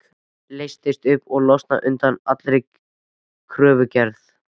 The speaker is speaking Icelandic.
Leysast upp og losna undan allri kröfugerð.